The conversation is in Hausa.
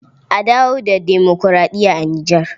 A dawo da demokuraɗiya a Nijar.